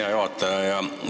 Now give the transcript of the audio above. Hea juhataja!